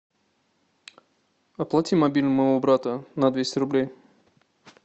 оплати мобильный моего брата на двести рублей